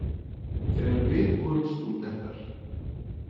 Þegar við vorum stúdentar.